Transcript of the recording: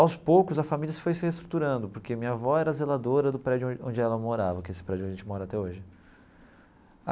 Aos poucos, a família se foi se reestruturando, porque minha avó era zeladora do prédio onde ela morava, que esse prédio a gente mora até hoje.